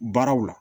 Baaraw la